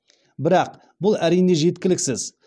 бірақ бұл әрине жеткіліксіз